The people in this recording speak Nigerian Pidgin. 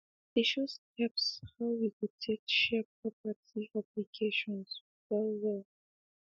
they show steps how we go take share property obligations well well